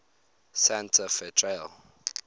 santa fe trail